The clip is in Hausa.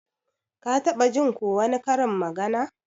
Ka taɓa Jin ko wani karin magana?